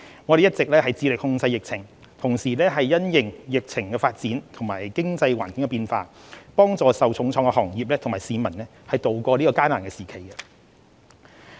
我們一直致力控制疫情，同時因應疫情發展及經濟環境的變化，幫助受重創的行業和市民渡過這艱難時期。